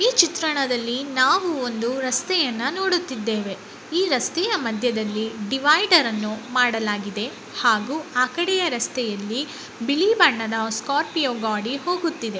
ಈ ಚಿತ್ರಣದಲ್ಲಿ ನಾವು ಒಂದು ರಸ್ತೆಯನ್ನ ನೋಡುತ್ತಿದ್ದೇವೆ. ಈ ರಸ್ತೆಯ ಮಧ್ಯದಲ್ಲಿ ಡಿವೈಡರ್ ಅನ್ನು ಮಾಡಲಾಗಿದೆ. ಹಾಗೂ ಆಕಡೆಯ ರಸ್ತೆಯಲ್ಲಿ ಬಿಳೀ ಬಣ್ಣದ ಸ್ಕಾರ್ಪಿಯೊ ಗಾಡಿ ಹೋಗುತ್ತಿದೆ